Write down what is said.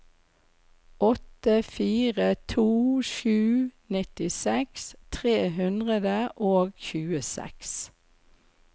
åtte fire to sju nittiseks tre hundre og tjueseks